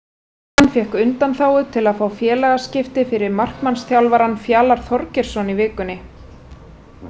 Stjarnan fékk undanþágu til að fá félagaskipti fyrir markmannsþjálfarann Fjalar Þorgeirsson í vikunni.